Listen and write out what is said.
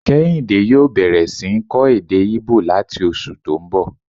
Kéhìndé yòó bẹ̀rẹ̀ sí ń kọ́ èdè íbò láti oṣù tó n bọ̀